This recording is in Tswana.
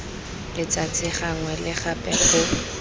letsatsi gangwe le gape go